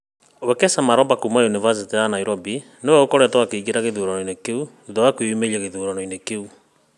Wekesa Maloba kuuma ũnivacĩtĩ ya Nairobi nĩ we ũkoretwo akĩingĩra gĩthuranoinĩ kĩu thutha wa kwĩyamũrĩra gĩthuranoinĩ kĩu.